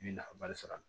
I bɛ nafaba de sɔrɔ a la